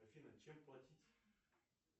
афина чем платить